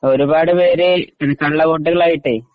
ഒരുപാട് പേര് കള്ളവോട്ടുകളായിട്ട്